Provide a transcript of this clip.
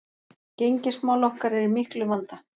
Gengismál okkar eru í miklum vanda